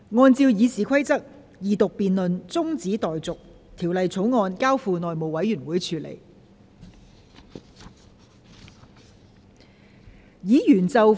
按照《議事規則》，二讀辯論中止待續，《條例草案》交付內務委員會處理。